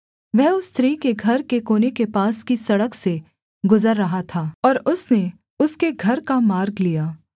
वह उस स्त्री के घर के कोने के पास की सड़क से गुजर रहा था और उसने उसके घर का मार्ग लिया